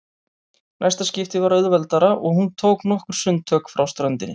Næsta skipti var auðveldara og hún tók nokkur sundtök frá ströndinni.